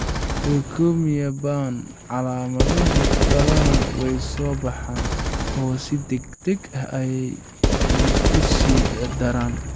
Leukemia ba'an, calaamaduhu badanaa way soo baxaan oo si degdeg ah ayay uga sii daraan.